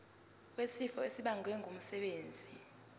wesifo esibagwe ngumsebenzi